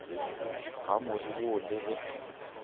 ga more wo le ge